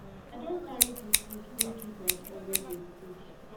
i don carry di food go give my friend wey dey sick